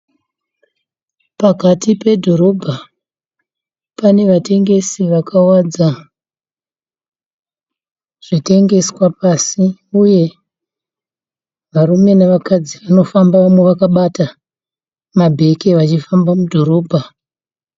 Pakati pedhorobha pane vatengesi vakawadza zvitengeswa pasi ,uye varume navakadzi vanofamba vaka bata mabeke vachifamba mudhorobha.